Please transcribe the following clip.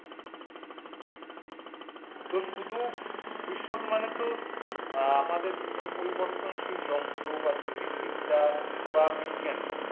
তোর শুধু ভবিষ্যৎ মানে তো আমাদের সময়ের পরিবর্তনশীল যন্ত্র বা জ্যোতিষবিদ্যা বা বিজ্ঞান।